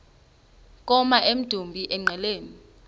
koma emdumbi engqeleni